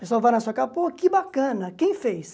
Pessoal vai na sua casa, pô, que bacana, quem fez?